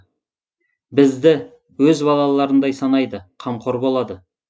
бізге өз балаларындай санайды қамқор болады